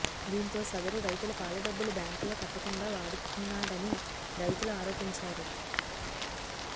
దీంతో సదరు రైతుల పాల డబ్బులు బ్యాంకులో కట్టకుండా వాడుకున్నాడని రైతులు ఆరోపించారు